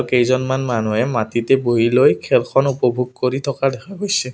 কেইজনমান মানুহে মাটিতে বহি লৈ খেলখন উপভোগ কৰি থকা দেখা গৈছে।